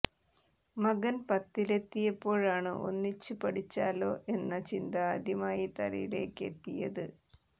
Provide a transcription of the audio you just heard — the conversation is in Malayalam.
മകൻ പത്തിലെത്തിയപ്പോഴാണ് ഒന്നിച്ച് പഠിച്ചാലോ എന്ന ചിന്ത ആദ്യമായി തലയിലേക്ക് എത്തിയത്